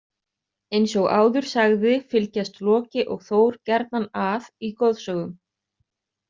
Eins og áður sagði fylgjast Loki og Þór gjarnan að í goðsögum.